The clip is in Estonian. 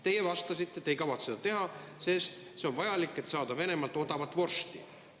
Teie vastasite, et te ei kavatse seda teha, sest see on vajalik, et saada Venemaalt odavat vorsti.